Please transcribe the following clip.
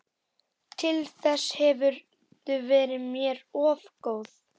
Til þess hefurðu verið mér of góð.